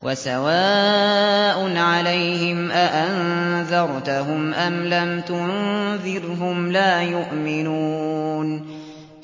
وَسَوَاءٌ عَلَيْهِمْ أَأَنذَرْتَهُمْ أَمْ لَمْ تُنذِرْهُمْ لَا يُؤْمِنُونَ